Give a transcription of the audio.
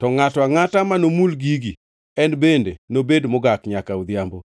to ngʼato angʼata manomul gigi, en bende nobed mogak nyaka odhiambo.